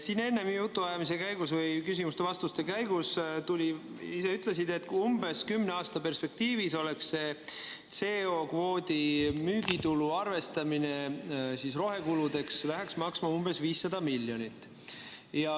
Siin enne jutuajamise käigus või küsimuste-vastuste käigus sa ütlesid, et umbes kümne aasta perspektiivis see CO2 kvoodi müügitulu arvestamine rohekuludeks läheks maksma umbes 500 miljonit.